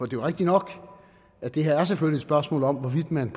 jo rigtigt nok at det her selvfølgelig spørgsmål om hvorvidt man